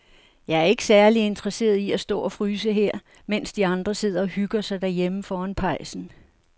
Jeg er ikke særlig interesseret i at stå og fryse her, mens de andre sidder og hygger sig derhjemme foran pejsen.